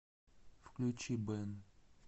включи бэн